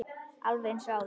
Alveg eins og áður.